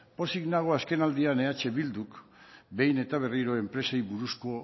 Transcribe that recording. pozik nago azkenaldian eh bilduk behin eta berriro enpresei buruzko